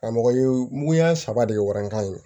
Karamɔgɔ ye muguya saba de ye warankan in